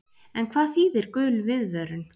En hvað þýðir gul viðvörun?